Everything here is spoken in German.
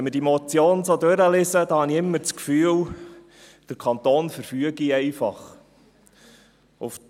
Wenn ich diese Motion durchlese, habe ich das Gefühl, der Kanton würde einfach verfügen: